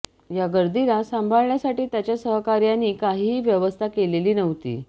या गर्दीला सांभाळण्यासाठी त्याच्या सहकार्यांनी काहीही व्यवस्था केलेली नव्हती